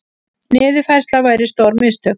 Niðurfærsla væri stór mistök